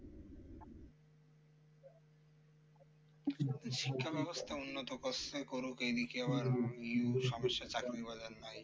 শিক্ষা ব্যবস্থা উন্নত করছে করুক এই দিকে আবার ইউ সমস্যা চাকরি বাজার নাই